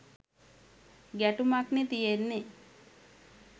ගැටුමක්නෙ තියෙන්නෙ